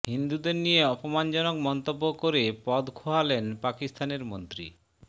হিন্দুদের নিয়ে অপমানজনক মন্তব্য করে পদ খোয়ালেন পাকিস্তানের মন্ত্রী